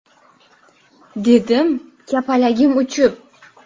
– dedim kapaligim uchib.